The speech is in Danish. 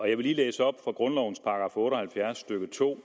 jeg vil lige læse op fra grundlovens § otte og halvfjerds stykke to